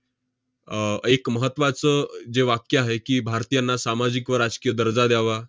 अह एक महत्त्वाचं जे वाक्य आहे की, 'भारतीयांना सामाजिक व राजकीय दर्जा द्यावा,